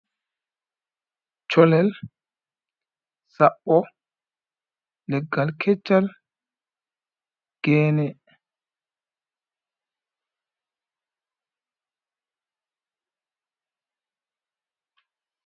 Sholel, saɓɓo, leggal keccal, geene.